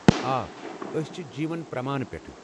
آ، أسۍ چھِ جیٖون پرٛمان پٮ۪ٹھہٕ ۔